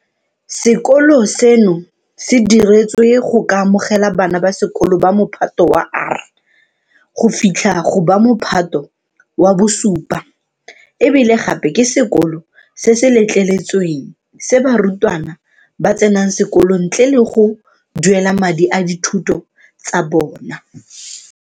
Sekolo seno se diretswe go ka amogela bana ba sekolo ba Mophato wa R go fitlha go ba Mophato wa bo 7 e bile gape ke sekolo se se letleletsweng se barutwana ba tsenang sekolo ntle le go duelela madi a dithuto tsa bona.